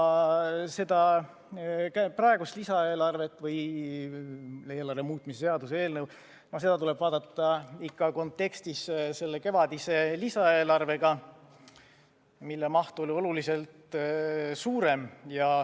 Seda praegust lisaeelarvet või eelarve muutmise seaduse eelnõu tuleb vaadata ikka kontekstis selle kevadise lisaeelarvega, mille maht oli oluliselt suurem.